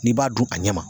N'i b'a dun a ɲɛ ma